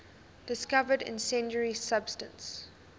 discovered incendiary substance